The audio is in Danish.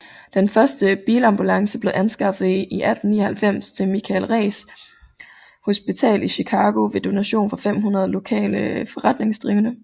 Den første bilambulance blev anskaffet i 1899 til Michael Reese Hospital i Chicago ved donation fra 500 lokale forretningsdrivende